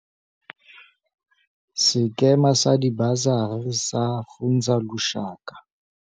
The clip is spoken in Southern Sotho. Sekema sa Dibasari sa Funza Lushaka,